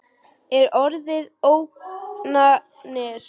Er orðið ógnanir til?